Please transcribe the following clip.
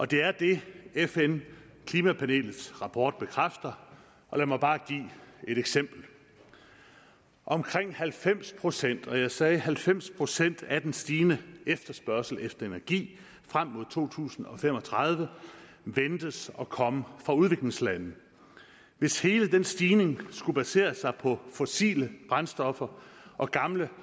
det er det fn klimapanelets rapport bekræfter og lad mig bare give et eksempel omkring halvfems procent og jeg sagde halvfems procent af den stigende efterspørgsel på energi frem mod to tusind og fem og tredive ventes at komme fra udviklingslande hvis hele den stigning skulle basere sig på fossile brændstoffer og gamle